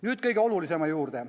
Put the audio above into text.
Nüüd kõige olulisema juurde.